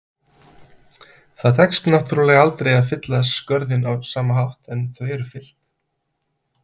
Það tekst náttúrulega aldrei að fylla skörðin á sama hátt en þau eru fyllt.